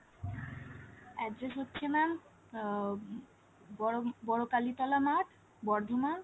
address হচ্ছে mam uh বড় কালীতলা মাঠ বর্ধমান